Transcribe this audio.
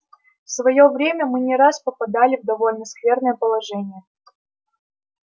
в своё время мы не раз попадали в довольно скверное положение